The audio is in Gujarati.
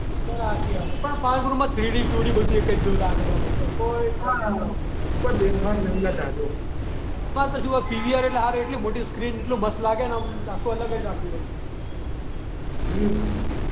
હા સાચી વાત પણ પાલ ગુરુમાં થ્રીડી ટુડી બધુ એક જ જેવું લાગે મારા ભાઈ પણ શું પીવીઆર એટલે હારી એટલી મોટી સ્ક્રીન એટલું મસ્ત લાગે ને એમ આખું અલગ જ લાગે